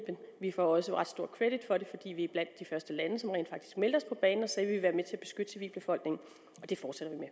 vi får også ret stor credit for det fordi vi er blandt de første lande som rent faktisk meldte sig på banen og sagde at være med til at beskytte civilbefolkningen og det fortsætter vi med